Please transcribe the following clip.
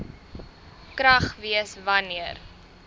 krag wees wanneer